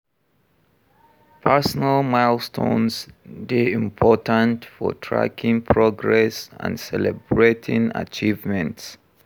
Personal milestones dey important for tracking progress and celebrating achievements.